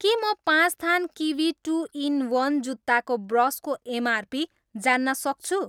के म पाँच थान किवी टु इन वन् जुत्ताको ब्रसको एमआरपी जान्न सक्छु?